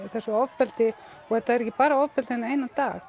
þessu ofbeldi og það var ekki bara ofbeldi þennan eina dag